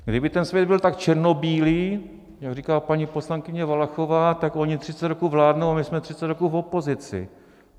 Kdyby ten svět byl tak černobílý, jak říká paní poslankyně Valachová, tak oni 30 roků vládnou a my jsme 30 roků v opozici.